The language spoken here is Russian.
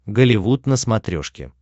голливуд на смотрешке